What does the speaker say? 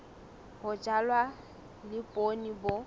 ho jalwa le poone bo